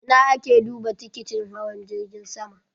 Ina a ke duba tikitin hawan jirgin sama?